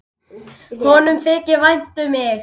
Honum þykir vænt um mig.